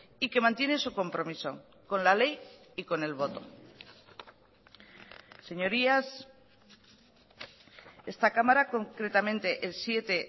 y que mantiene su compromiso con la ley y con el voto señorías esta cámara concretamente el siete